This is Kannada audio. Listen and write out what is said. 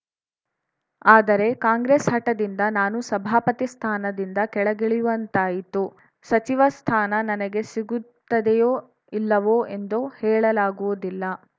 ಆದರೆ ಕಾಂಗ್ರೆಸ್‌ ಹಠದಿಂದ ನಾನು ಸಭಾಪತಿ ಸ್ಥಾನದಿಂದ ಕೆಳಗಿಳಿಯುವಂತಾಯಿತು ಸಚಿವ ಸ್ಥಾನ ನನಗೆ ಸಿಗುತ್ತದೆಯೂ ಇಲ್ಲವೋ ಎಂದು ಹೇಳಲಾಗುವುದಿಲ್ಲ